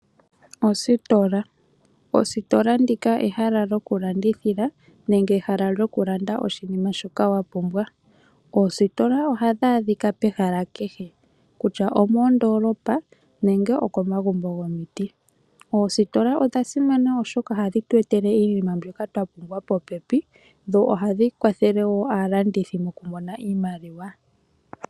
Ositola ehala lyokulandithila nenge ehala lyokulanda oshinima shoka wa pumbwa. Oositola ohadhi adhika pehala kehe, kutya omoondolopa nenge okomagumbo gomiti. Oositola odha simana oshoka ohadhi tu etele iinima mbyoka twa pumbwa popepi, dho ohadhi kwathele wo aalandithi mokumona iimaliwa.